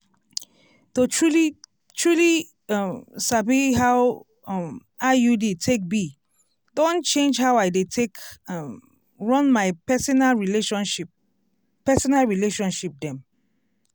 to truly-truly um sabi how um iud take be don change how i dey take um run my personal relationship personal relationship dem.